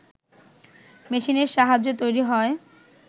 মেশিনের সাহায্যে তৈরি হয়